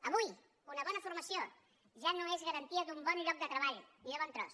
avui una bona formació ja no és garantia d’un bon lloc de treball ni de bon tros